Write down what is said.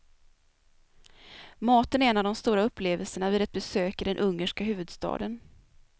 Maten är en av de stora upplevelserna vid ett besök i den ungerska huvudstaden.